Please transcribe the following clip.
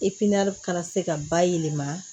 kana se ka ba yɛlɛma